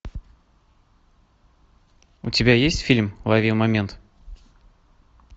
у тебя есть фильм лови момент